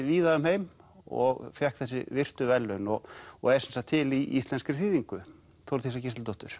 víða um heim og fékk þessi virtu verðlaun og og er sem sagt til í íslenskri þýðingu Þórdísar Gísladóttur